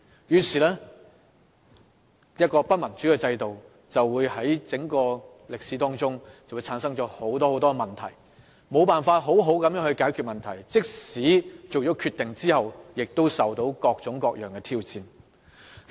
一個不民主的制度，便會產生很多問題，而問題卻無法妥善獲得解決，即使在政府作出決定後，亦會遭受各種各樣的挑戰。